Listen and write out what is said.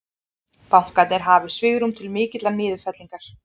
Bankarnir hafi svigrúm til mikillar niðurfellingar